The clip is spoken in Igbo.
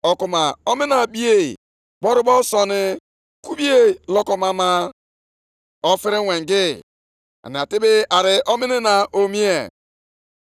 Ma ugbu a nwee obi ike Zerubabel,’ ka Onyenwe anyị kwuru. ‘Nwekwaa obi ike gị Joshua onyeisi nchụaja, nwa Jehozadak. Nwekwaanụ obi ike unu ndị niile bi nʼala a.’ Ka Onyenwe anyị kwuru. ‘Rụọnụ ọrụ nʼihi na anọnyeere m unu,’ ka Onyenwe anyị, Onye pụrụ ime ihe niile na-ekwu.